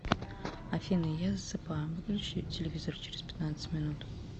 афина я засыпаю выключи телевизор через пятнадцать минут